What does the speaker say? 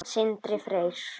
Sindri Freyr.